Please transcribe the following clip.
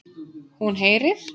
Hún heyrir.